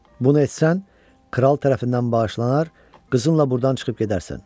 Bunu etsən, kral tərəfindən bağışlanar, qızınla burdan çıxıb gedərsən.